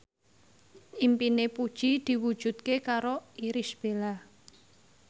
impine Puji diwujudke karo Irish Bella